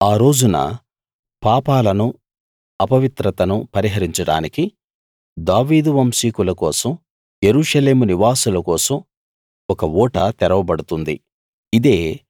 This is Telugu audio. ఆ రోజున పాపాలను అపవిత్రతను పరిహరించడానికి దావీదు వంశీకుల కోసం యెరూషలేము నివాసుల కోసం ఒక ఊట తెరవబడుతుంది